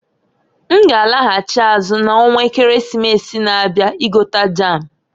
N g'alaghachị azụ na onwa Ekeresimesi na-abia igota jam.